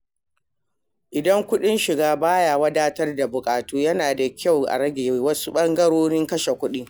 Idan kuɗin shiga ba ya wadatar da buƙatu, yana da kyau a rage wasu ɓangarorin kashe kuɗi.